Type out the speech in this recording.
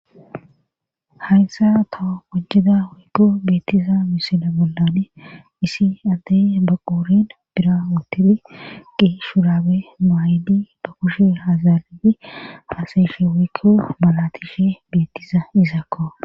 Hayssa taho wojjeda wikko beettiza misila bollane isi addey baquurin bira wotidi qi shuraabe maayidi ba kushe hazaridi faaseeshe wikko malatishe beettiza izakko.